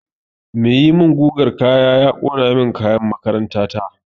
Mai yi min gugan kaya ya ƙona min kayan makaranta na